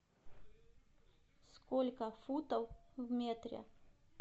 сколько футов в метре